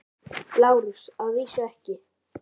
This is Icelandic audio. LÁRUS: Að vísu ekki.